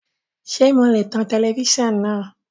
Ṣe mo lè tan tẹlẹfísàn náà?